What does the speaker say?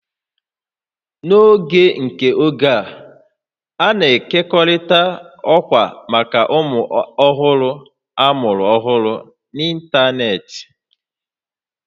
N'oge nke oge a, a na-ekekọrịta ọkwa maka ụmụ ọhụrụ amụrụ ọhụrụ n'ịntanetị